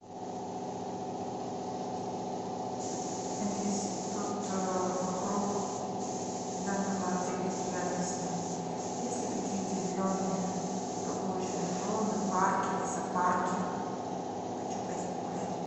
алиса тут вокруг данного отеля и рядом с ним есть ли какие то зеленые прогулочные зоны парки лесопарки хочу пойти погулять